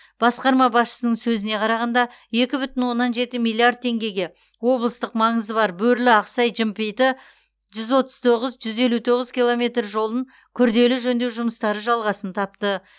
басқарма басшысының сөзіне қарағанда екі бүтін оннан жеті миллиард теңгеге облыстық маңызы бар бөрлі ақсай жымпиты жүз отыз тоғыз жүз елу тоғыз километр жолын күрделі жөндеу жұмыстары жалғасын тапты